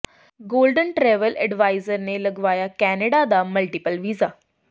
golden travel adviser ਨੇ ਲਗਾਇਆ Canada ਦਾ ਮਲਟੀਪਲ ਵੀਜ਼ਾ